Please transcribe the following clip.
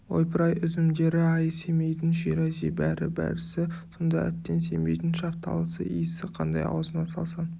ойпыр-ай үзімдері-ай семейдің ширази бәрі-бәрісі сонда әттең семейдің шафталысы иісі қандай аузыңа салсаң